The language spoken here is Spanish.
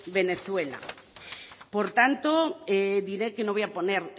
venezuela por tanto diré que no voy a poner